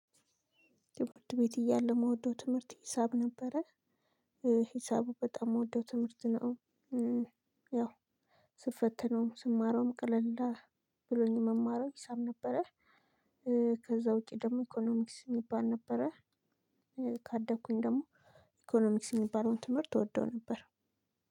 ትምህርት ቤት እያለው የምወደው ትምህርት ሂሳብ ነበረ ሂሳቡ በጣም የምወደው ትምህርት ነው። ያው ስፈተነውም ስማረውም ቀለልዳ ብሎኝ ምማረው ሂሳብ ነበረ። ከዛ ውጪ ደግሞ ኢኮኖሚክስ የሚባል ነበረ። ካደኩኝ ደግሞ ኢኮኖሚክስ ሚባልለውን ትምህርት እወደው ነበር።